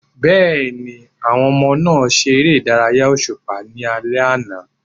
Bẹ́ẹ̀ni, àwọn ọmọ náà ṣe ère ìdárayá òṣùpá ní alẹ́ àná.